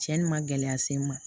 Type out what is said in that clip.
Cɛnni ma gɛlɛya se n ma